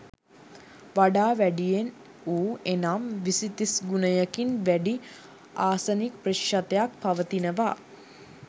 වඩා වැඩියෙන් වූ එනම් විසි තිස් ගුණයකින් වැඩි ආසනික් ප්‍රතිශතයක් පවතිනවා.